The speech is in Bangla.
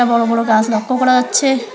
আ বড়ো বড়ো গাছ লক্ষ্য করা যাচ্ছে।